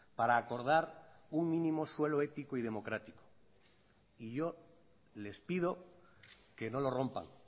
para acordar un mínimo suelo ético y democrático y yo les pido que no lo rompan